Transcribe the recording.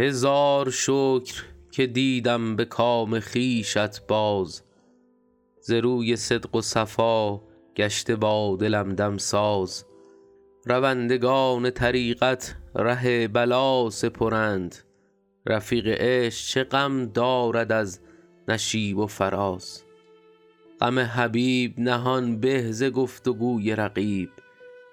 هزار شکر که دیدم به کام خویشت باز ز روی صدق و صفا گشته با دلم دمساز روندگان طریقت ره بلا سپرند رفیق عشق چه غم دارد از نشیب و فراز غم حبیب نهان به ز گفت و گوی رقیب